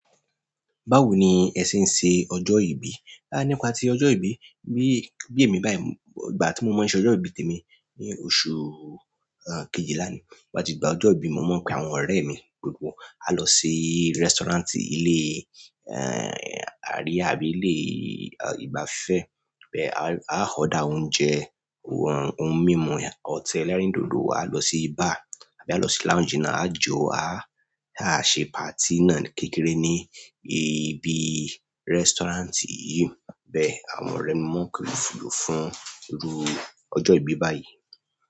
Báwo ni ẹ ṣe n ṣe ọjọ́ ìbí? Ah, nípa ti ọjọ́ ìbí, bí, bí èmi báyìí, ìgbà tí mo mọ̀ ọ́ ṣe ọjọ́ ìbí tèmi ni oṣù, ẹ́, kejìlá ni. To ba ti digba ọjọ́ ìbí mọ̀ọ́ maa npẹ̀ áwọn ọ̀rẹ́ mi gbogbo. A lọ sí restaurant ilé, ẹ́, àríyá àbí ilé ìgbafẹ́. Ẹ̀ bẹ áà order oúnjẹ, ohun mímu, ọ̀tẹ̀ ẹlẹ́rìndòdò. Wa lọ sí bar, a bá lọ sí lounge náà, a jo, aàṣẹ party náà kékeré ní ibi restaurant yìí. Bẹ́ẹ̀ àwọn ọ̀rẹ́ mi mọ̀ọ́ kìlòfun iru ọjọ́ ìbí báyìí.